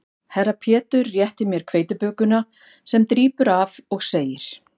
Herra Pétur réttir mér hveitibökuna sem drýpur af og segir